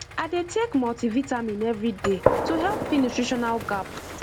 i dey take multivitamin every day to help fill nutritional gap